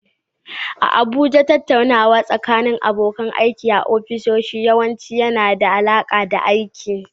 A Abuja, tattaunawa tsakanin abokan aiki a ofisoshi yawanci yana da alaƙa da aiki.